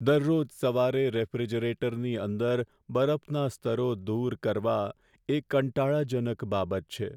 દરરોજ સવારે રેફ્રિજરેટરની અંદર બરફના સ્તરો દૂર કરવા એ કંટાળાજનક બાબત છે.